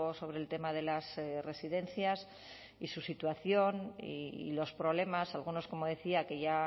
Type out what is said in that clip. sobre el tema de las residencias y su situación y los problemas algunos como decía que ya